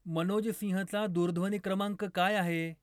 मनोज सिंहचा दूरध्वनी क्रमांक काय आहे?